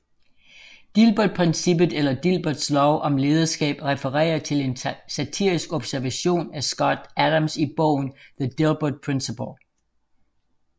Dilbertprincippet eller Dilberts lov om lederskab refererer til en satirisk observation af Scott Adams i bogen The Dilbert Principle